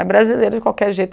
É brasileiro de qualquer jeito.